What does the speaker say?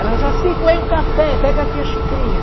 Ela Jacy coei um café, pega aqui a xicrinha.